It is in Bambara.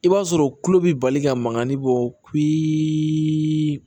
I b'a sɔrɔ tulo bi bali ka mankani bɔ